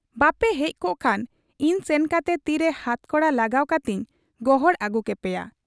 ᱵᱟᱯᱮ ᱦᱮᱡ ᱠᱚᱜ ᱠᱷᱟᱱ ᱤᱧ ᱥᱮᱱ ᱠᱟᱛᱮ ᱛᱤᱨᱮ ᱦᱟᱛᱠᱚᱲᱟ ᱞᱟᱜᱟᱣ ᱠᱟᱛᱮᱧ ᱜᱚᱦᱟᱲ ᱟᱹᱜᱩ ᱠᱮᱯᱮᱭᱟ ᱾